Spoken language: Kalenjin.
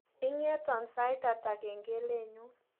Ingeto sait hata kengelenyu